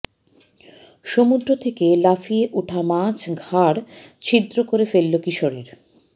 সমুদ্র থেকে লাফিয়ে ওঠা মাছ ঘাড় ছিদ্র করে ফেলল কিশোরের